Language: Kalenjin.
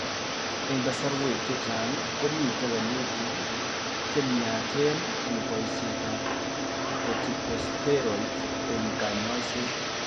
Eng' kasarwek chechang komite wolutik chemyachen eng' boisietab corticosteroids eng' kanyoiset